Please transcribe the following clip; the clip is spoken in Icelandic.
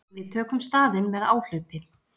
Við tökum staðinn með áhlaupi.